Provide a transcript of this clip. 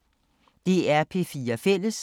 DR P4 Fælles